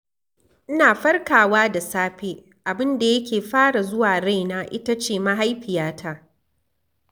Ina farkawa da safe abin da ya ke fara zuwa raina ita ce mahaifiyata.